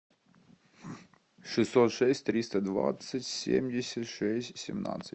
шестьсот шесть триста двадцать семьдесят шесть семнадцать